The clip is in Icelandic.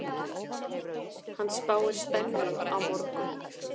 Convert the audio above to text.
Hann spáir spennu á morgun.